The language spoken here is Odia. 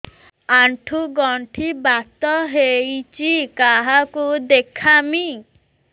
ଆଣ୍ଠୁ ଗଣ୍ଠି ବାତ ହେଇଚି କାହାକୁ ଦେଖାମି